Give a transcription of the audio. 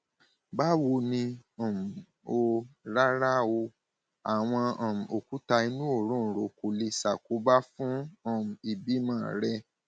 báwo ni um o rárá o àwọn um òkúta inú òróǹro kò lè ṣàkóbá fún um ìbímọ rẹ